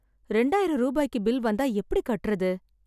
ரெண்டாயிரம் ரூபாய்க்கு பில் வந்தா எப்படி கட்டுறது?